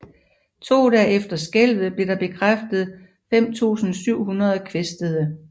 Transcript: To dage efter skælvet blev der bekræftet 5700 kvæstede